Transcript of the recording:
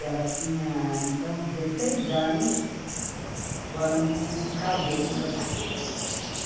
Ela tinha, então, dezesseis anos quando casou com meu pai.